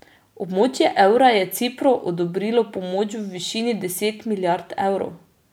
Območje evra je Cipru odobrilo pomoč v višini deset milijard evrov.